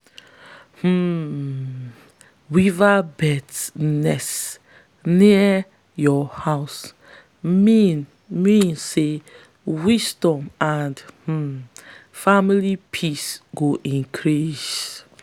um weaverbird's nest near your house mean mean say wisdom and um family peace go increase.